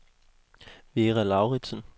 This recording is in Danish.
Vera Lauridsen